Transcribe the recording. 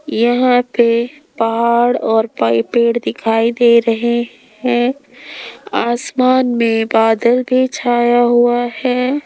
यहां पे पहाड़ और पाई पेड़ दिखाई दे रहे हैं आसमान में बादल भी छाया हुआ हैं।